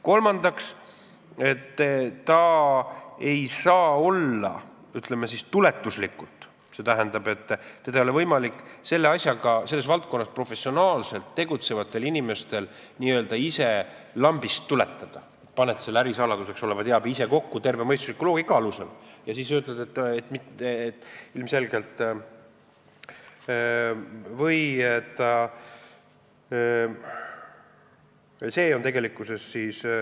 Kolmandaks, ta ei saa olla, ütleme siis, tuletuslik, st teda ei ole võimalik selles valdkonnas professionaalselt tegutsevatel inimestel n-ö ise lambist tuletada, nii et pannakse see ärisaladuseks olev teave ise tervemõistusliku loogika alusel kokku.